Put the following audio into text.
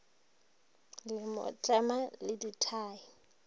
le mo tlema le dithai